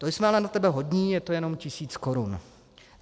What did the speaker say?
To jsme ale na tebe hodní, je to jenom tisíc korun.